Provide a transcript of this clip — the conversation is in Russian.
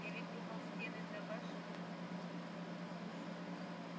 я ведь думал стены да башни